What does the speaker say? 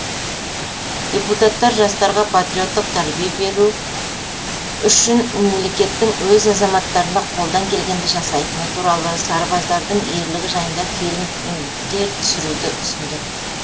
депутаттар жастарға патриоттық тәрбие беру үшін мемлекеттің өз азаматтарына қолдан келгенді жасайтыны туралы сарбаздардың ерлігі жайында фильмдер түсіруді ұсынды